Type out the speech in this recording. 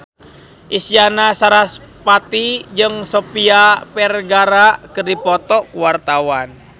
Isyana Sarasvati jeung Sofia Vergara keur dipoto ku wartawan